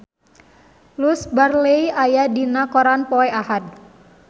Louise Brealey aya dina koran poe Ahad